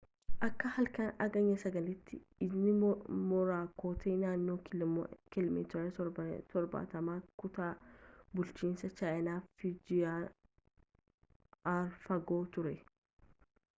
akka halkan hagayya 9’tti ijni moraakoot naannoo kiilomeetira torbaatamaa kutaa bulchiinsa chaayinaa fujiyaan arra fagoo ture